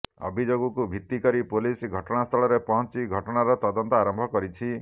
ଅଭିଯୋଗକୁ ଭିତ୍ତି କରି ପୋଲିସ ଘଟଣାସ୍ଥଳରେ ପହଞ୍ଚି ଘଟଣାର ତଦନ୍ତ ଆରମ୍ଭ କରିଛି